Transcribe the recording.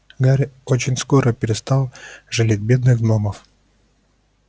гарри очень скоро перестал жалеть бедных гномов